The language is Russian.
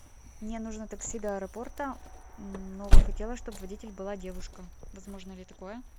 мне нужно такси до аэропорта но хотела чтоб водитель была девушка возможно ли такое